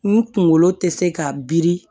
N kunkolo tɛ se ka biri